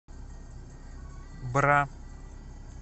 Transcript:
бра